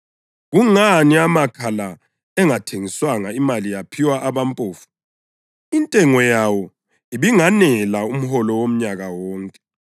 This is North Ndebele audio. “Kungani amakha la engathengiswanga imali yaphiwa abampofu? Intengo yawo ibinganela umholo womnyaka wonke.”